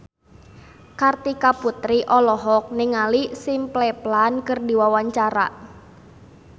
Kartika Putri olohok ningali Simple Plan keur diwawancara